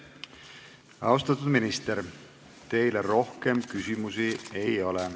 Austatud minister, teile rohkem küsimusi ei ole.